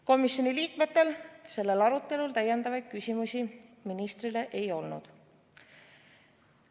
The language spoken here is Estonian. Komisjoni liikmetel sellel arutelul täiendavaid küsimusi ministrile ei olnud.